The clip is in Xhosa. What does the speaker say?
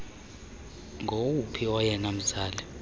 ngowuphi oyena mzali